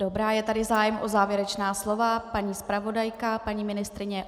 Dobrá, je tady zájem o závěrečná slova - paní zpravodajka, paní ministryně.